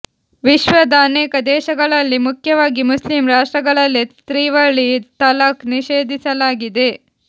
ವಿಶ್ವದ ಅನೇಕ ದೇಶಗಳಲ್ಲಿ ಮುಖ್ಯವಾಗಿ ಮುಸ್ಲಿಂ ರಾಷ್ಟ್ರಗಳಲ್ಲೆ ತ್ರಿವಳಿ ತಲಾಖ್ ನಿಷೇಧಿಸಲಾಗಿದೆ